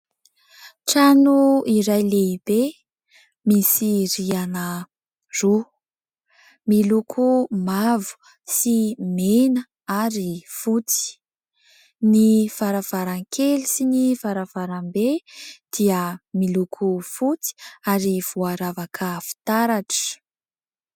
Trano iray lehibe misy rihana roa ; miloko mavo sy mena ary fotsy. Ny varavarakely sy ny varavarambe dia miloko fotsy ary voaravaka fitaratra.